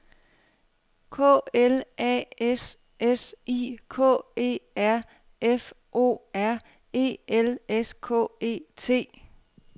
K L A S S I K E R F O R E L S K E T